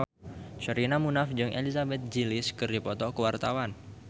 Sherina Munaf jeung Elizabeth Gillies keur dipoto ku wartawan